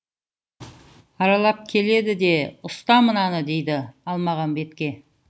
аралап келеді де ұста мынаны дейді алмағамбетке